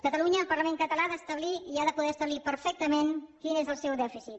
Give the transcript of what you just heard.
catalunya el parlament català ha d’establir i ha de poder establir perfectament quin és el seu dèficit